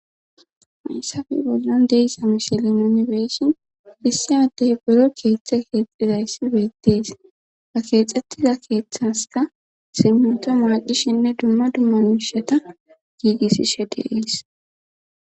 hayssafi bollon deysa mishilin yunibesin issi addey buro keeththe keexxizayssi beettees ba keexxettiza keeththaska simmuta maaqishinne dumma dummamishata giigisishe de'es